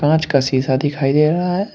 कांच का शीशा दिखाई दे रहा है।